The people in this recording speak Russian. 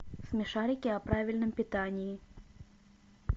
смешарики о правильном питании